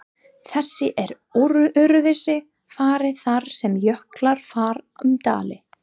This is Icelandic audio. Þessu er öðruvísi farið þar sem jöklar fara um dali.